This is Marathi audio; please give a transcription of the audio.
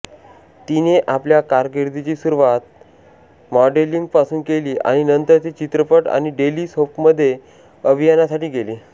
तिने आपल्या कारकीर्दीची सुरुवात मॉडेलिंगपासून केली आणि नंतर ती चित्रपट आणि डेली सोपमध्ये अभिनयासाठी गेली